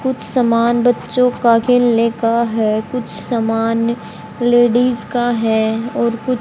कुछ सामान बच्चों का खेलने का है कुछ सामान लेडिस का है और कुछ--